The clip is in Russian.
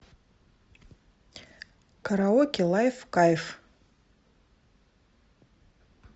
караоке лайф кайф